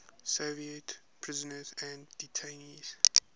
soviet prisoners and detainees